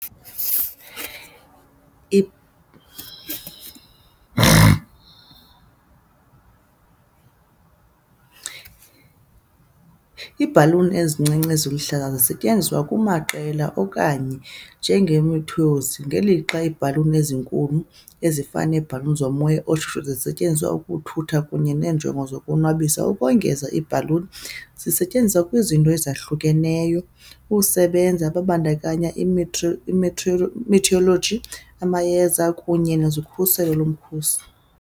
Iibhaluni ezincinci zihlala zisetyenziselwa amaqela okanye njengamathoyizi, ngelixa iibhaluni ezinkulu, ezifana neebhaluni zomoya oshushu, zisetyenziswa ukuthutha kunye neenjongo zokuzonwabisa. Ukongeza, iibhaluni zisetyenziswa kwizinto ezahlukeneyo usebenza, kubandakanya i-meteorology, amayeza, kunye nezokhuselo lomkhosi.